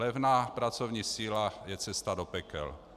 Levná pracovní síla je cesta do pekel.